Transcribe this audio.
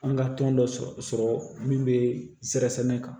An ka tɔn dɔ sɔrɔ min bɛ sirasɛnɛ kan